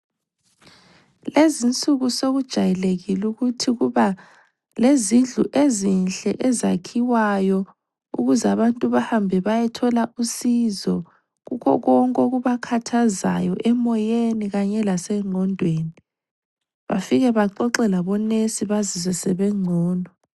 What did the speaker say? Lezi insuku sokujayelekile ukuthi kuba lezindlu ezinhle ezakhiwayo ukuze abantu bahambe bayethola usizo kukho konke okubakhathazayo emoyeni kanye lasengqondweni bafike baxoxe labonesi bazizwe sebengcono.